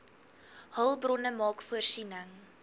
hulpbronne maak voorsiening